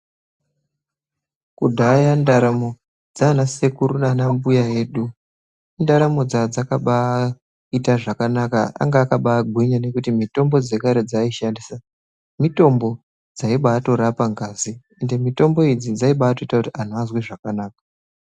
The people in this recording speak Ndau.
Kudhaya ndaramo dzaana sekuru naanambuya edu, indaramo dzaa dzakabaaita zvakanaka. Anga akabaagwinya nekuti mitombo dzekare dzaaishandisa, mitombo dzaibatorapa ngazi, ende mitombo idzi, dzaibaatoita kuti anhu azwe zvakanaka.